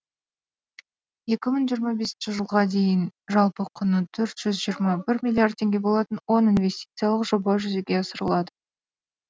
екі мың жиырма бесінші жылға дейін жалпы құны төрт жүз жиырма бір миллиард теңге болатын он инвестициялық жоба жүзеге асырылады